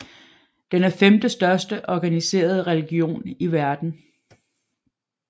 Den er femtestørste organiserede religion i verden